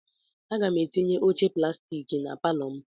Aga m etinye oche plastik na palọ m.